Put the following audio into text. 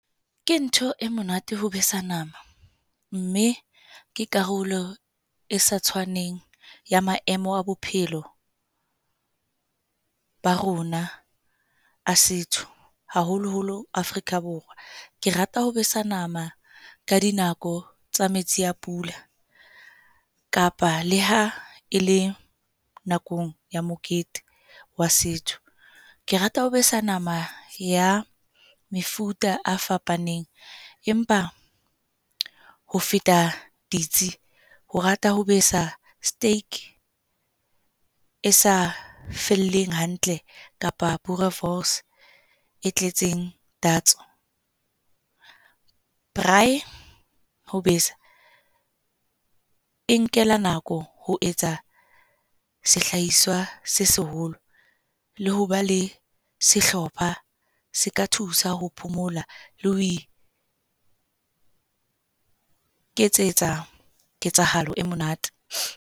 Ke ntho e monate ho besa nama, mme ke karolo e sa tshwaneng ya maemo a bophelo ba rona a setso haholo-holo Afrika Borwa. Ke rata ho besa nama ka dinako tsa metsi a pula kapa le ha e le nakong ya mokete wa setho. Ke rata ho besa nama ya mefuta a fapaneng, empa ho feta ditsi, ho rata ho besa steak e sa felleng hantle kapa boerewors e tletseng tatso. Braai ho besa e nkela nako ho etsa sehlahiswa se seholo le ho ba le sehlopha se ka thusa ho phomola le ho iketsetsa ketsahalo e monate.